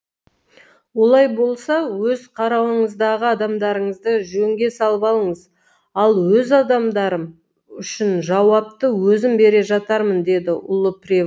олай болса өз қарауыңыздағы адамдарыңызды жөнге салып алыңыз ал өз адамдарым үшін жауапты өзім бере жатармын деді ұлы прево